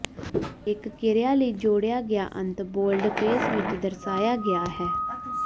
ਹਰੇਕ ਕ੍ਰਿਆ ਲਈ ਜੋੜਿਆ ਗਿਆ ਅੰਤ ਬੋਲਡਫੇਸ ਵਿੱਚ ਦਰਸਾਇਆ ਗਿਆ ਹੈ